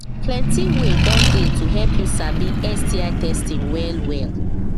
plenty way don they to help you sabi sti testing well well